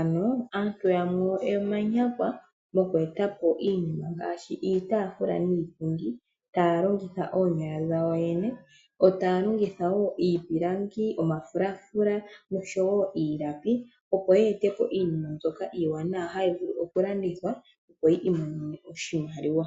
ano aantu yamwe omanyakwa moku etapo iinima ngaashi iitaafula niipundi taya longitha oonyala dhawo yo yene. Yo taya longitha wo iipilangi, omafulaafula nosho wo iimbaki opo ye etepo iinima iiwanawa hayi vulu oku landithwa opo yi imonene mo oshimaliwa.